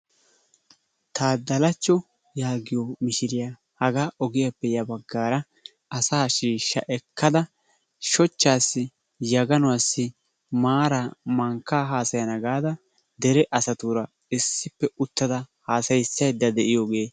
Taaddalacho yaagiyo mishiriya ogiyappe asaa shiishsha ekkada shochchaassi, yaganuwassi maaraa mankkaa haasayana gaada dere asatuura issippe uttada haasayissaydda de"iyogee....